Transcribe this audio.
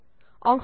Ltd